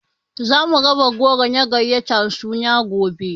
Zamu raba goro na gayatar suna gobe